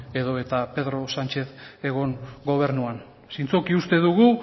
edota pedro sánchez egon gobernuan zintzoki uste dugu